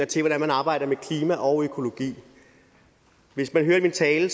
til hvordan man arbejder med klima og økologi hvis man hørte min tale